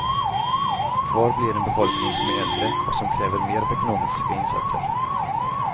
Kvar blir en befolkning som blir äldre och som kräver mer av ekonomiska insatser.